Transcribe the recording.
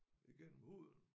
Igennem huden